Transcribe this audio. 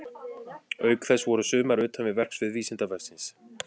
Auk þess voru sumar utan við verksvið Vísindavefsins.